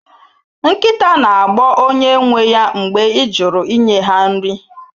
Nkịta na-agbọ onye nwe ya mgbe ị jụrụ inye ha nri